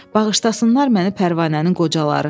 Bağışlasınlar məni Pərvanənin qocaları.